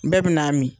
Bɛɛ bɛ n'a min